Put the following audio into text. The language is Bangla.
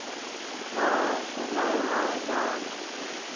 হ্যাঁ, সময় হয়না